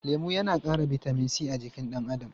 Lemu yana ƙara bitamin c a jikin ɗan adam.